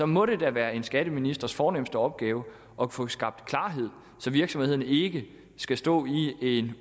må da være en skatteministers fornemste opgave at få skabt klarhed så virksomhederne ikke skal stå i en